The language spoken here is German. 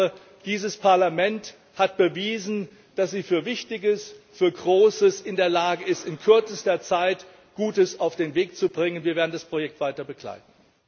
Ich glaube, dieses Parlament hat bewiesen, dass es zu Wichtigem, zu Großem in der Lage ist, in kürzester Zeit Gutes auf den Weg bringen kann. Wir werden das Projekt weiter begleiten.